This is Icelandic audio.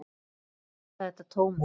Ég kalla þetta tómið.